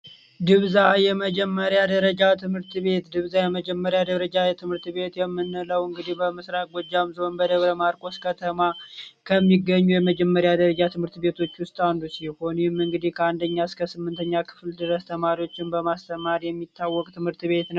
ድብዛ የመጀመሪያ ደረጃ ትምህርት ቤት ድብዛ የመጀመሪያ ደረጃ ትምህርት ቤት የምንለው እንግዲህ በምስራቅ ጎጃም ዞን በደብረ ማርቆስ ከተማ ከሚገኙ የመጀመሪያ ደረጃ ትምህርት ቤቶቹ ውስጥ አንዱ ሲሆን ይህም እንግዲህ ከአንደኛ እሰከ ስምንተኛ ክፍል ድረስ ተማሪዎችን በማስተማር የሚታወቅ ትምህርት ቤት ነው።